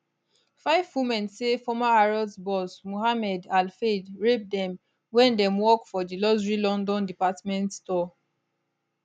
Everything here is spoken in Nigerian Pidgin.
five women say former harrods boss mohamed al fayed rape dem wen dem work for di luxury london department store